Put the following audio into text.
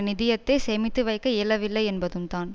நிதியத்தை சேமித்துவைக்க இயலவில்லை என்பதும்தான்